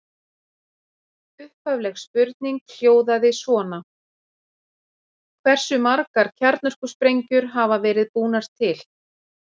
Upphafleg spurning hljóðaði svona: Hversu margar kjarnorkusprengjur hafa verið búnar til?